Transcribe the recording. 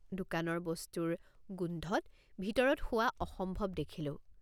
দোকানৰ বস্তুৰ গোন্ধত ভিতৰত শোৱা অসম্ভৱ দেখিলোঁ।